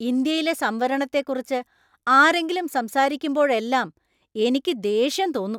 ഇന്ത്യയിലെ സംവരണത്തെക്കുറിച്ച് ആരെങ്കിലും സംസാരിക്കുമ്പോഴെല്ലാം എനിക്ക് ദേഷ്യം തോന്നും .